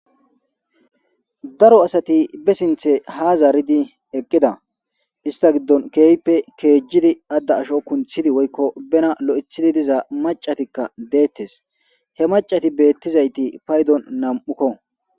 Daro asati be sinthe ha zaridi eqida ista gidon keehidi ada aaho kunthidi woyko bena loythidi diza mac'atika deetes. He mac'ati beyizayti nam'ukko.